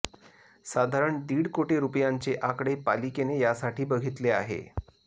साधारण दीड कोटी रूपयांचे आकडे पालिकेने यासाठी बघितले आहे